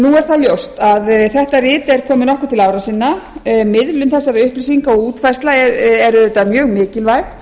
nú er það ljóst að þetta rit er komið nokkuð til ára sinna miðlun þessara upplýsinga og útfærsla er auðvitað mjög mikilvæg